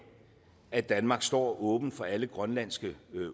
at danmark står åben for alle grønlandske